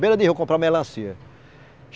Beira de rio, comprar melancia.